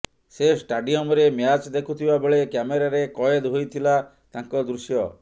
ସେ ଷ୍ଟାଡିମୟରେ ମ୍ୟାଚ୍ ଦେଖୁଥିବା ବେଳେ କ୍ୟାମେରାରେ କଏଦ ହୋଇଥିଲା ତାଙ୍କ ଦୃଶ୍ୟ